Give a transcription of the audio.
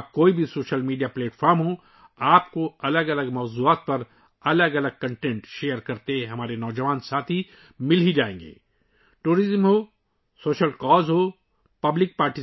چاہے کوئی بھی سوشل میڈیا پلیٹ فارم ہو ، اس سے کوئی فرق نہیں پڑتا ، آپ کو ہمارے نوجوان دوست مختلف موضوعات پر مختلف مواد کا اشتراک کرتے ہوئے مل جائیں